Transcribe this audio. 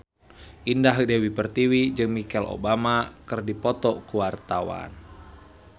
Indah Dewi Pertiwi jeung Michelle Obama keur dipoto ku wartawan